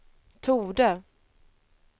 torde